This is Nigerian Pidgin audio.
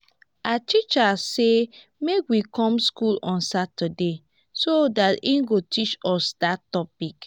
our teacher say make we come school on saturday so dat he go teach us dat topic